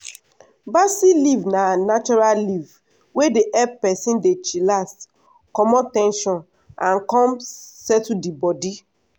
basil leaf na natural leaf wey dey help person dey chillax comot ten sion and come settle the body.